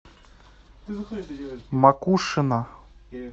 макушино